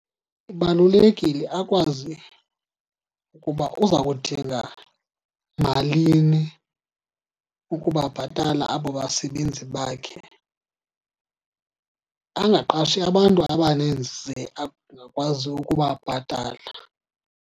Kubalulekile akwazi ukuba uza kudinga malini ukubabhatala abo basebenzi bakhe, angaqashi abantu abaninzi angakwazi ukubabhatala.